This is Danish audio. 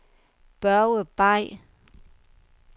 Børge Bay